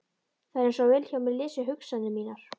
Það er einsog Vilhjálmur lesi hugsanir mínar.